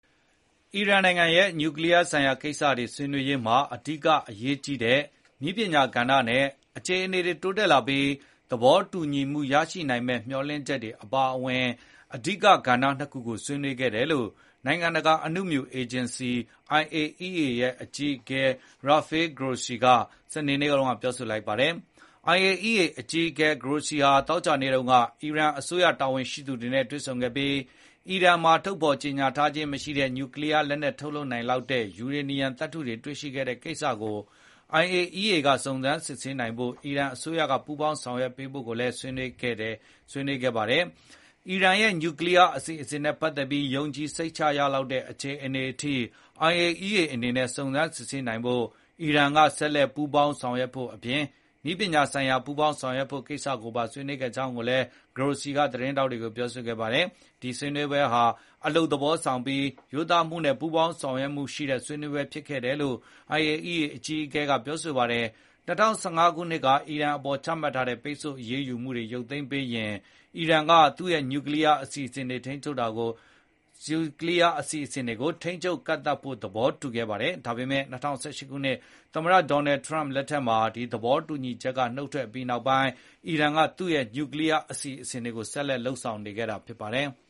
အီရန်နိုင်ငံရဲ့နျူကလီယားဆိုင်ရာကိစ္စတွေဆွေးနွေးရာမှာ အဓိကအရေးကြီးတဲ့ သိပ္ပံနည်းပညာကဏ္ဍနဲ့ အခြေအနေတွေတိုးတက်လာပြီး သဘောတူညီမှုရရှိနိုင်မယ့်မျှော်လင့်ချက်တွေအပါအဝင် အဓိကကဏ္ဍနှစ်ခုကို ဆွေးနွေးခဲ့တယ်လို့ နိုင်ငံတကာအနုမြူစွမ်းအင် အေဂျင်စီ IAEA အကြီးအကဲ Rafael Grossi ကစနေ နေ့မှာပြောလိုက်ပါတယ်။ IAEA အကြီးအကဲ Grossi ဟာအီရန်အစိုးရတာဝန်ရှိသူတွေနဲ့ သောကြာနေ့က တွေ့ဆုံခဲ့ပြီး အီရန်မှာထုတ်ဖေါ်ကြေညာထားခြင်းမရှိတဲ့ နျူကလီယားလက်နက်ထုတ်လုပ်နိုင်လောက်တဲ့ ယူရေနီယံသတ္တုတွေ တွေ့ရှိခဲ့တဲ့ကိစ္စကို IAEA က စုံစမ်းစစ်ဆေးနိုင်ရေးမှာ အီရန်အစိုးရကပူးပေါင်းဆောင်ရွက်ဖို့ ဆွေးနွေးခဲ့ပါတယ်။ အီရန်ရဲ့ နျူကလီယားအစီအစဉ်နဲ့ပတ်သက်ပြီး ယုံကြည်စိတ်ချရလောက်တဲ့ အခြေအနေအထိ IAEA အနေနဲ့ စုံစမ်းစစ်ဆေးနိုင်ဖို့ အီရန်က ဆက်လက်ပူးပေါင်းဆောင်ရွက်ဖို့အပြင် နည်းပညာဆိုင်ရာ ပူးပေါင်းလုပ်ဆောင်ဖို့ကိစ္စတွေကိုဆွေးနွေးခဲ့တယ်လို့ Grossi ကသတင်းထောက်တွေကိုပြောဆိုခဲ့ပါတယ်။ ဒီဆွေးနွေးပွဲဟာ အလုပ်သဘောဆောင်ပြီး ရိုးသားမှုနဲ့ ပူးပေါင်းဆောင်ရွက်မှုရှိတဲ့ဆွေးနွေးပွဲဖြစ်တယ်လို့ IAEA အကြီးအကဲကပြောဆိုခဲ့ပါတယ်။ ၂၀၁၅ ခုနှစ်က အီရန်အပေါ်ချမှတ်ထားတဲ့ ပိတ်ဆို့အရေးယူမှုတွေရုပ်သိမ်းပေးရင် အီရန်က သူ့ရဲ့နျူကလီယားအစီအစဉ်တွေကို ထိန်းချုပ်ကန့်သတ်ဖို့ သဘောတူခဲ့ပါ တယ်။ ဒါပေမယ့် ၂၀၁၈ ခုနှစ် သမ္မတဒေါ်နယ်ထရန့်လက်ထက် ဒီသဘောတူညီချက်က နုတ်ထွက်အပြီးမှာ အီရန်က သူ့ရဲ့နျူကလီယားအစီအစဉ်တွေကို ဆက်လက်လုပ်ဆောင်နေခဲ့တာဖြစ်ပါတယ်။